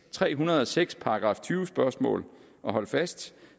tre hundrede og seks § tyve spørgsmål og hold fast